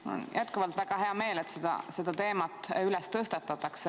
Mul on jätkuvalt väga hea meel, et seda teemat tõstatatakse.